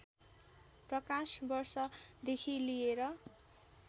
प्रकाश वर्षदेखि लिएर